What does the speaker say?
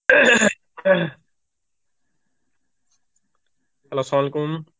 Arbi